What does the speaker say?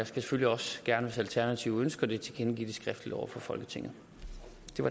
selvfølgelig også gerne hvis alternativet ønsker det tilkendegive det skriftligt over for folketinget